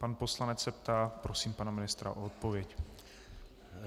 Pan poslanec se ptá, prosím pana ministra o odpověď.